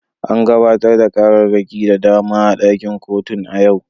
An gabatar da ƙararraki da dama a ɗakin kotun a yau.